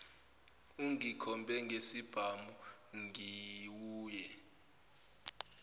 ungikhombe ngesibhamu ngiwuye